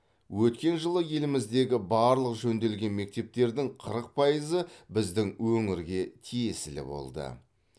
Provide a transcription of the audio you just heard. өткен жылы еліміздегі барлық жөнделген мектептердің қырық пайызы біздің өңірге тиесілі болды